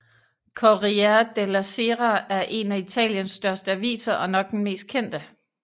Corriere della Sera er én af Italiens største aviser og nok den mest kendte